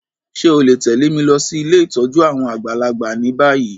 Ṣe o le tẹ̀lé mi losí ilé ìtójú àwon àgbàlagbà ni bayi?